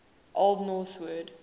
old norse word